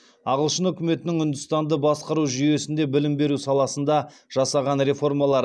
ағылшын үкіметінің үндістанды басқару жүйесінде білім беру саласында жасаған реформалары